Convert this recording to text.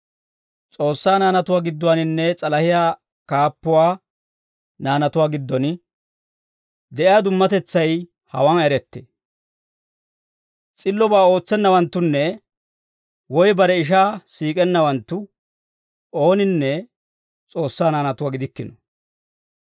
S'oossaa naanatuu gidduwaaninne s'alahiyaa kaappuwaa naanatuwaa giddon de'iyaa dummatetsay hawaan erettee; s'illobaa ootsennawanttunne woy bare ishaa siik'ennawanttu ooninne S'oossaa naanatuwaa gidikkino.